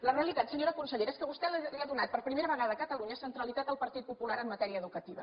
la realitat senyora consellera és que vostè li ha donat per primera vegada a catalunya centralitat al partit popular en matèria educativa